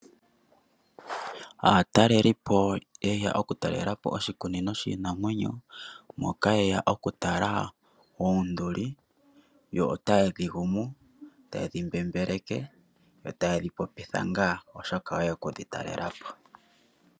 Aatalelipo yeya okutalelapo oshikunino shiinamwenyo, moka yeya okutala oonduli yo otaye dhi gumu, taye dhi mbembeleke. Yo taye dhi popitha ngaa oshoka oyeya oku dhi talelapo.